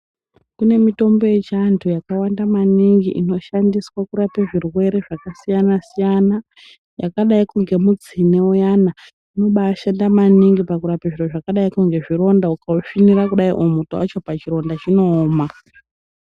Kune mitombo yechiantu yakawanda maningi inoshandiswa kurape zvirwere zvakasiyana-siyana, yakadai kunge mutsine uyana, unobaashanda maningi pakurape zviro zvakadai ngezvironda. Ukausvinira kudai o muto wacho pachironda chinooma.